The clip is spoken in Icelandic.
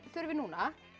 þurfið núna